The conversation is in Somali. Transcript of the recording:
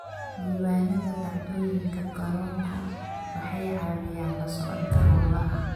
Diiwaanada dhacdooyinka garoonku waxay caawiyaan la socodka hawlaha.